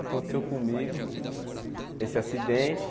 Aconteceu comigo esse acidente.